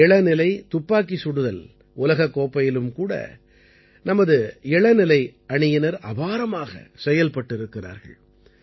இளநிலை துப்பாக்கி சுடுதல் உலகக் கோப்பையிலும் கூட நமது இளநிலை அணியினர் அபாரமாகச் செயல்பட்டிருக்கிறார்கள்